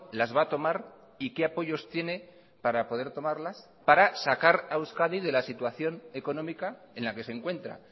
las va a tomar y qué apoyos tiene para poder tomarlas para sacar a euskadi de la situación económica en la que se encuentra